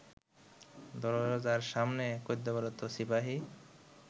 দরজার সামনে কর্তব্যরত সিপাহি